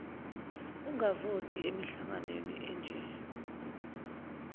angavoti emihlanganweni enje